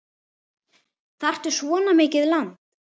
Þarftu svona mikið land?